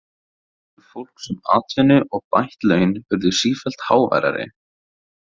Kröfur fólks um atvinnu og bætt laun urðu sífellt háværari.